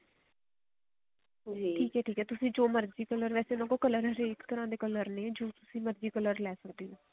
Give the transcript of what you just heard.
ਠੀਕ ਹੈ ਠੀਕ ਹੈ ਤੁਸੀਂ ਜੋ ਮਰਜ਼ੀ color ਵੇਸੇ ਉਹਨਾ ਕੋਲ color ਹਰੇਕ ਤਰ੍ਹਾਂ ਦੇ color ਨੇ ਜੋ ਤੁਸੀਂ ਮਰਜ਼ੀ color ਲੈ ਸਕਦੇ ਹੋ